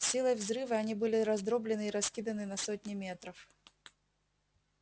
силой взрыва они были раздроблены и раскиданы на сотни метров